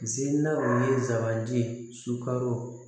Ziina o ye zabante ye sukaro